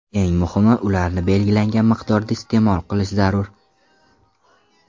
Eng muhimi, ularni belgilangan miqdorda iste’mol qilish zarur.